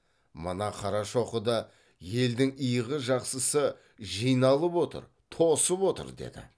мына қарашоқыда елдің игі жақсысы жиналып отыр тосып отыр деді